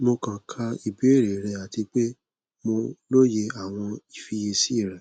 mo kan ka ibeere rẹ ati pe mo loye awọn ifiyesi rẹ